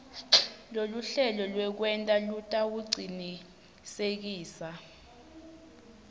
loluhlelo lwekwenta lutawucinisekisa